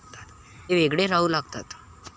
ते वेगळे राहू लागतात.